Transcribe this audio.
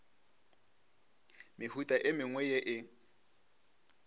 mehuta e mengwe ye e